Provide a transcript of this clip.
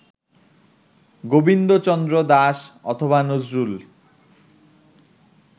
গোবিন্দচন্দ্র দাস অথবা নজরুল